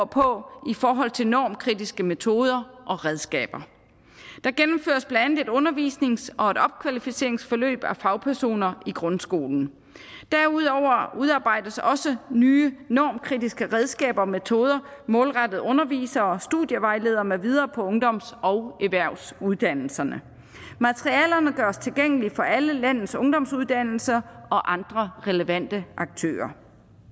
på i forhold til normkritiske metoder og redskaber der gennemføres blandt andet et undervisnings og et opkvalificeringsforløb af fagpersoner i grundskolen derudover udarbejdes også nye normkritiske redskaber og metoder målrettet undervisere og studievejledere med videre på ungdoms og erhvervsuddannelserne materialerne gøres tilgængelige for alle landets ungdomsuddannelser og andre relevante aktører